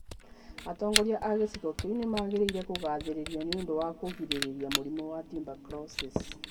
Atongoria a gĩcigo kĩu nĩ magĩrĩire kũgaathĩrĩrio nĩ ũndũ wa kũgirĩrĩria mũrimũ wa tuberculosis .